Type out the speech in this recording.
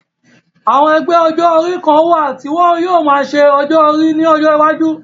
Àwọn ẹgbẹ́ ọjọ́ orí kan wà tí wọ́n yóò máa ṣe ọjọ́ orí ní ọjọ iwájú